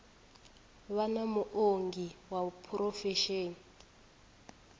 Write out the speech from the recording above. vha na muongi wa phurofesheni